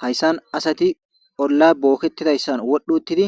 Hayssan asati olla bookketidayssan wodhuuttidi